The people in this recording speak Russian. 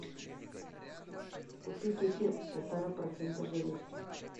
купи кефир полтора процента жирности